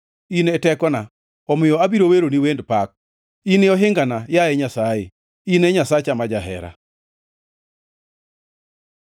In e tekona, omiyo abiro weroni wend pak; in e ohingana, yaye Nyasaye, in e Nyasacha ma jahera.